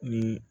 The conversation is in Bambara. Ni